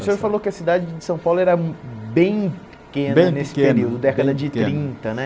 O senhor falou que a cidade de São Paulo era bem pequena Bem pequena bem pequena Nesse período, década de trinta né.